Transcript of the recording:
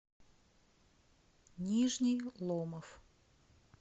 нижний ломов